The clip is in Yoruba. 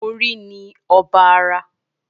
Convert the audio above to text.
Orí ni ọba ara